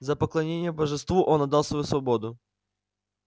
за поклонение божеству он отдал свою свободу